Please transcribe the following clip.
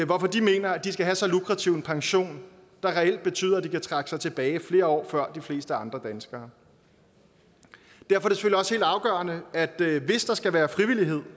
hvorfor de mener at de skal have så lukrativ en pension der reelt betyder at de kan trække sig tilbage flere år før de fleste andre danskere derfor er det hvis der skal være frivillighed